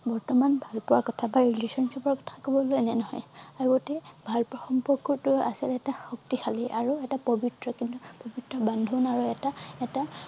বৰ্তমান ভালপোৱাৰ কথা বা relationship ৰ কথা এনেধৰণে আগতে ভালপোৱা সম্পৰ্কটো আছিল এটা শক্তিশলী আৰু এটা পবিত্ৰ কিন্তু পবিত্ৰ বান্ধোন আৰু এটা এটা